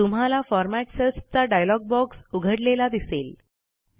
तुम्हाला format cells चा dialog box उघडलेला दिसेल